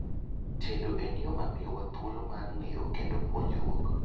tedo en yoo mamio wa thuolo mar ng'eyo kendo ponjruok